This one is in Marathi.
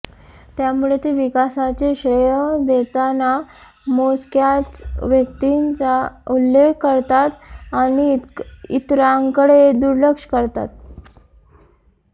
त्यामुळे ते विकासाचे श्रेय देताना मोजक्याच व्यक्तींचा उल्लेख करतात आणि इतरांकडे दुर्लक्ष करतात